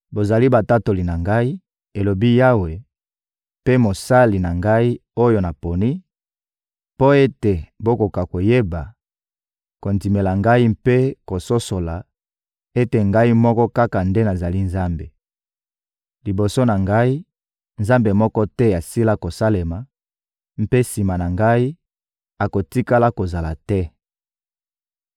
«Bozali batatoli na Ngai,» elobi Yawe, «mpe mosali na Ngai, oyo naponi, mpo ete bokoka koyeba, kondimela Ngai mpe kososola ete Ngai moko kaka nde nazali Nzambe: Liboso na Ngai, nzambe moko te asila kosalema; mpe sima na Ngai, akotikala kozala te.